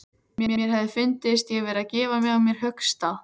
Mér hefði fundist ég vera að gefa á mér höggstað.